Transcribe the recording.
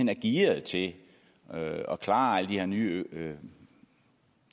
er gearet til at klare alle de her nye